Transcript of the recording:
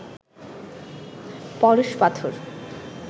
পরশ পাথর